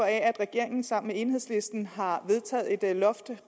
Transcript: af at regeringen sammen med enhedslisten har vedtaget et loft